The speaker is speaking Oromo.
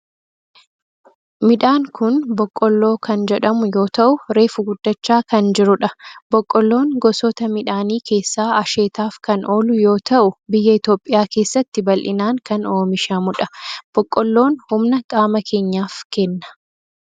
Midhaan kun boqqoolloo kan jedhamu yoo ta'u reefu guddachaa kan jirudha. Boqqoolloon gosoota midhaanii keessaa asheetaf kan oolu yoo ta'u biyya Itiyoophiyaa keessatti bal'inaan kan oomishamudha. Boqqoolloon humna qaama keenyaf kenna.